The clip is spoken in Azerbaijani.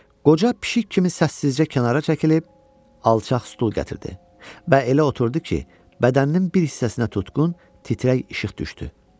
Qoca pişik kimi səssizcə kənara çəkilib, alçaq stul gətirdi və elə oturdu ki, bədəninin bir hissəsinə tutqun, titrək işıq düşdü.